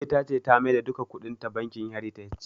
Ummi ta ce ta maida duka kuɗinta bankin "heritage"